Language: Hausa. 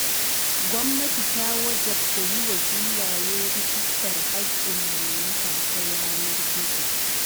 Gwamnati ta wajabta yiwa filaye rijistar haƙƙin mallaka ta yanar gizo.